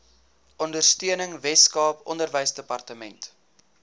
ondersteuning weskaap onderwysdepartement